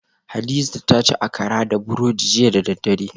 Hadiza ta ci Akara da burodi jiya da daddare